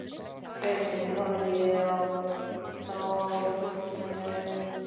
rauninni horfði ég þá á myndirnar með augum mömmu.